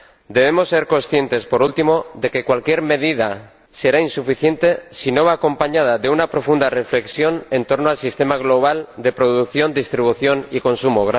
Debemos ser conscientes, por último, de que cualquier medida será insuficiente si no va acompañada de una profunda reflexión en torno al sistema global de producción, distribución y consumo.